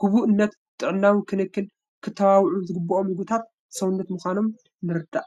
ግቡእነት ጥዕናዊ ክንክን ክተባብዑ ዝግበኦም ምግብታት ሰውነት ምዃኖም ንርዳእ፡፡